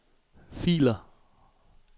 filer